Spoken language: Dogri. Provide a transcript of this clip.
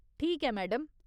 ठीक ऐ मैडम।